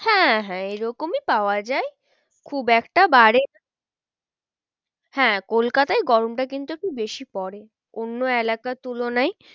হ্যাঁ হ্যাঁ এই রকমই পাওয়া যায় খুব একটা বাড়ে হ্যাঁ কলকাতায় গরমটা কিন্তু একটু বেশি পরে। অন্য এলাকার তুলনায়